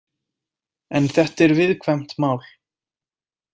En þetta er viðkvæmt mál.